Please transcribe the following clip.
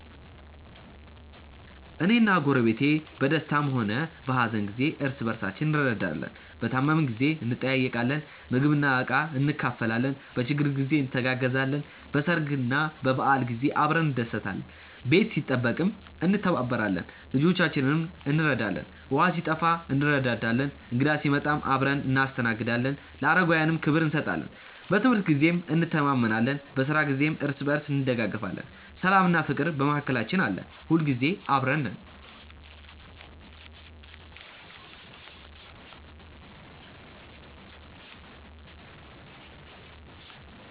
እኔና ጎረቤቴ በደስታም ሆነ በሀዘን ጊዜ እርስ በርሳችን እንረዳዳለን። በታመምን ጊዜ እንጠያየቃለን፣ ምግብና ዕቃ እንካፈላለን፣ በችግር ጊዜ እንተጋገዛለን፣ በሰርግና በበዓል ጊዜ አብረን እንደሰታለን። ቤት ሲጠበቅም እንተባበራለን፣ ልጆቻችንንም እንረዳዳለን። ውሃ ሲጠፋ እንረዳዳለን፣ እንግዳ ሲመጣም አብረን እናስተናግዳለን፣ ለአረጋውያንም ክብር እንሰጣለን። በትምህርት ጊዜም እንተማመናለን፣ በስራ ጊዜም እርስ በርስ እንደጋገፋለን። ሰላምና ፍቅርም በመካከላችን አለ። ሁልጊዜ አብረን ነን።።